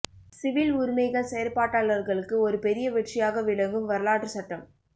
civil உரிமைகள் செயற்பாட்டாளர்களுக்கு ஒரு பெரிய வெற்றியாக விளங்கும் வரலாற்று சட்டம்